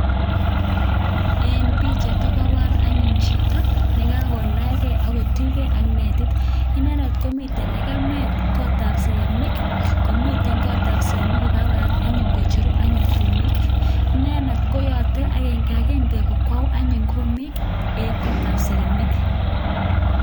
Eng pichait ko kebor anyun chito ne kakolachgei ak kotuchgei ak netit inendet komitei legemet kotab segemik komite kotab segemik kokakoyat anyun kocheru anyun kumik inendet koyote agengagenge kokwou anyun kumik eng kotab segemik.